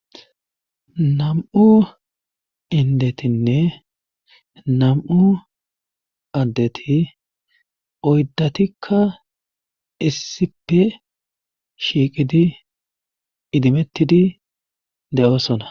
Nam'u indetinne nam'u addeti oydatikka issippe shiiqidi idimettidi de'oosona.